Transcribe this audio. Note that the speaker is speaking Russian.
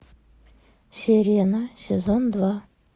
сирена сезон два